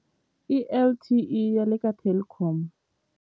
I L_T_E ya le ka Telkom.